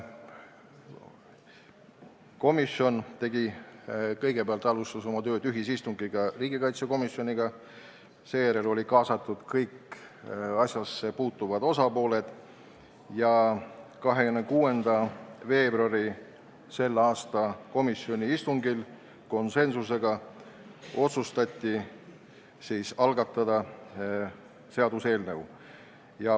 Komisjon alustas oma tööd koos riigikaitsekomisjoniga peetud ühisistungiga, seejärel kaasati kõik asjasse puutuvad osapooled ja k.a 26. veebruari komisjoni istungil otsustati konsensuslikult algatada seaduseelnõu.